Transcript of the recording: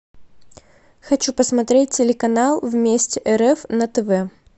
хочу посмотреть телеканал вместе рф на тв